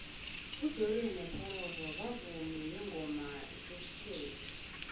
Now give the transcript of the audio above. ujoriyo mopororo bavumi bengoma zesikllethu